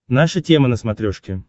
наша тема на смотрешке